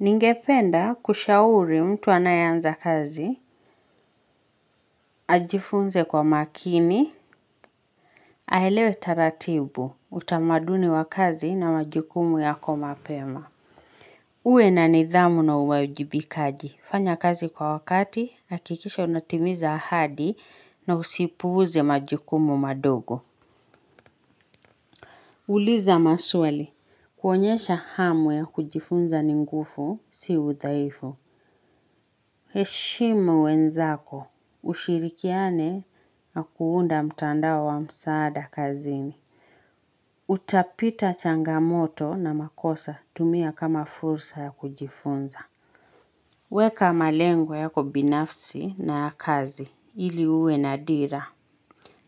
Ningependa kushauri mtu anayeanza kazi, ajifunze kwa makini, ahelewe taratibu, utamaduni wa kazi na majukumu yako mapema. Uwe na nidhamu na uwajibikaji, fanya kazi kwa wakati, akikisha unatimiza ahadi na usipuze majukumu madogo. Uliza maswali. Kuonyesha hamu ya kujifunza ni ngufu, si udhaifu. He shimu wenzako. Ushirikiane na kuunda mtandao wa msaada kazini. Utapita changamoto na makosa tumia kama fursa ya kujifunza. Weka malengo yako binafsi na kazi ili uwe na dira.